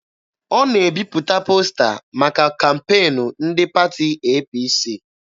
Ọ na-ebipụta posta maka kampeenu ndị pati APC.